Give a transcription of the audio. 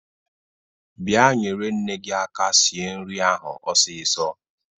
Bịa nyere nne gi aka sir nri ahụ ọsisọ!